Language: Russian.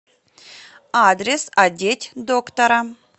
адрес одеть доктора